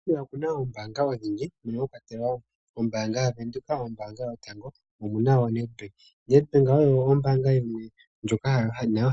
Namibia oku na oombaanga odhindji mono mwakwatelwa ombaanga yaWindoek, ombaanga yotango omunawoo oNedbank ,Nedbank oyo ombaanga yimwe ndjoka